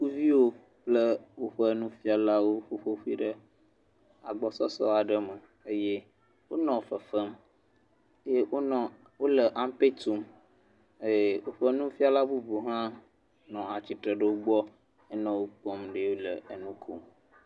Suku viwo kple woƒe nufiala wò ƒoƒu ɖe teƒe aɖe le agbɔsɔsɔ me. Wonɔ fefem eye wole ampe tum eye woƒe nufiala bubuwo hã nɔ woakpɔm he le nukom.